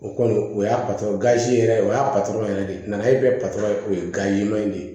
O kɔni o y'a yɛrɛ o y'a yɛrɛ de nana e bɛ o ye in de ye